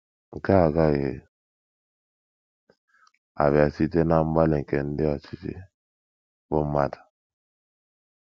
Nke a agaghị abịa site ná mgbalị nke ndị ọchịchị bụ́ mmadụ.